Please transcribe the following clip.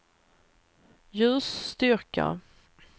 ljusstyrka